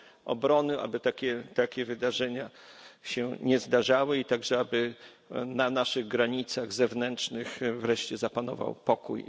Obrony, aby takie wydarzenia się nie zdarzały i także aby na naszych granicach zewnętrznych wreszcie zapanował pokój.